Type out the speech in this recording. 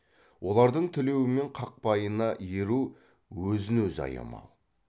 олардың тілеуі мен қақпайына еру өзін өзі аямау